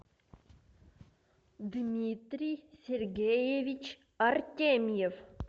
дмитрий сергеевич артемьев